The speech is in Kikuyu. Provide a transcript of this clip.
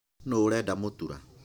Nũ ũrenda mũtura?